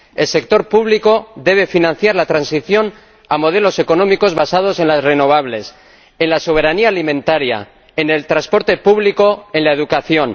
El sector público debe financiar la transición a modelos económicos basados en las energías renovables, en la soberanía alimentaria, en el transporte público, en la educación...